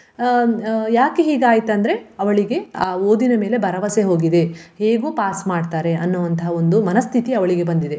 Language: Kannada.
ಹ್ಮ್ ಅಹ್ ಯಾಕೆ ಹೀಗ್ ಆಯ್ತಂದ್ರೆ ಅವಳಿಗೆ ಆ ಓದಿನ ಮೇಲೆ ಭರವಸೆ ಹೋಗಿದೆ ಹೇಗೂ pass ಮಾಡ್ತಾರೆ ಅನ್ನುವಂತಹ ಒಂದು ಮನಸ್ಥಿತಿ ಅವಳಿಗೆ ಬಂದಿದೆ.